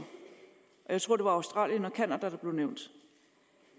jeg tror det var australien og canada der blev nævnt